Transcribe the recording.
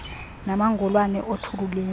namangolwane othuli lwendlu